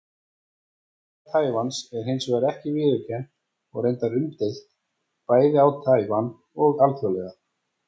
Sjálfstæði Taívans er hins vegar ekki viðurkennt og reyndar umdeilt, bæði á Taívan og alþjóðlega.